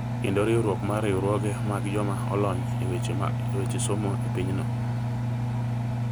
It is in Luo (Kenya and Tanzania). kendo riwruok mar riwruoge mag joma olony e weche somo e pinyno.